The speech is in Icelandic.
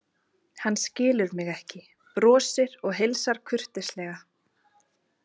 Hann skilur mig ekki, brosir og heilsar kurteislega.